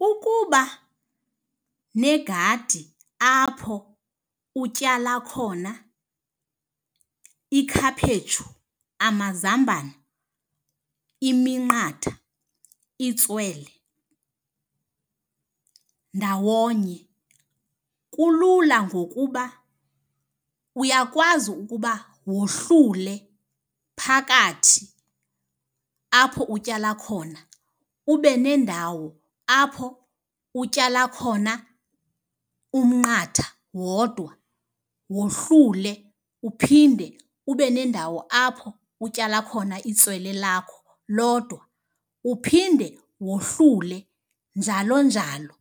Ukuba negadi apho utyala khona ikhaphetshu, amazambane, iminqatha, itswele ndawonye kulula ngokuba uyakwazi ukuba wohlule phakathi apho utyala khona ube nendawo apho utyala khona umnqatha wodwa. Wohlule uphinde ube nendawo apho utyala khona itswele lakho lodwa. Uphinde wohlule, njalo njalo.